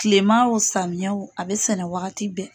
Kilema o samiya o a bɛ sɛnɛ wagati bɛɛ.